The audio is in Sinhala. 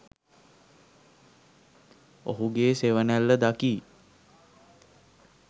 ඔහුගේ සෙවනැල්ල දකියි.